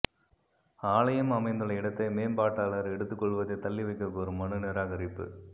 ஆலயம் அமைந்துள்ள இடத்தை மேம்பாட்டாளர் எடுத்துக்கொள்வதைத் தள்ளி வைக்கக் கோரும் மனு நிராகரிப்பு